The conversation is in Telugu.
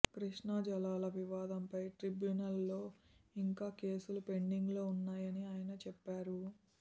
కృష్ణా జలాల వివాదంపై ట్రిబ్యునల్ లో ఇంకా కేసులు పెండింగ్ లో ఉన్నాయని ఆయన చెప్పారు